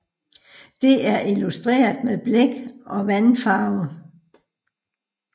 Det er illustreret med blæk og vandfarve